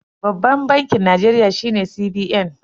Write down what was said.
Babban bankin Najeriya shine CBN.